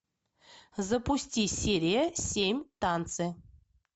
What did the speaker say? запусти серия семь танцы